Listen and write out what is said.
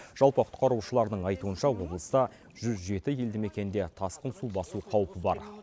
жалпы құтқарушылардың айтуынша облыста жүз жеті елді мекенде тасқын су басу қаупі бар